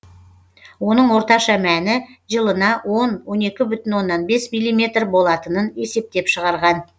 оның орташа мәні жылына он он екі бүтін оннан бес миллиметр болатынын есептеп шығарған